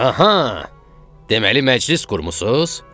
Aha, deməli məclis qurmussuz?